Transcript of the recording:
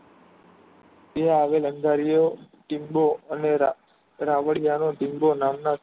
ત્યાં આવેલ દરિયો ટીંગો અનોરા રાવળિયા નો સીનધો નામ ના